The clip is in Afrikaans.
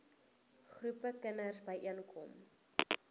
groepe kinders byeenkom